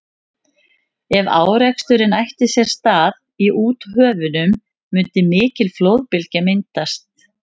ef áreksturinn ætti sér stað í úthöfunum mundi mikil flóðbylgja myndast